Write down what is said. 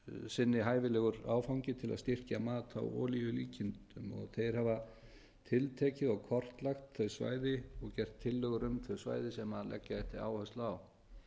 sinni hæfilegur áfangi til að styrkja mat á olíulíkindum þeir hafa tiltekið og kortlagt þau svæði og gert tillögur um þau svæði sem leggja ætti áherslu á